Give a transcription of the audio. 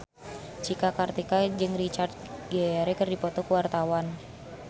Cika Kartika jeung Richard Gere keur dipoto ku wartawan